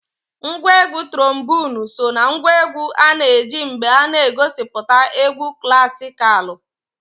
Ngwa egwu turomboonu so na ngwa egwu a na-eji mgbe a na-egosipụta egwu klasikalụ.